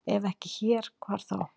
Ef ekki hér, hvar þá?